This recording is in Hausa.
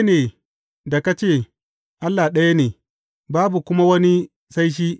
Daidai ne da ka ce, Allah ɗaya ne, babu kuma wani sai shi.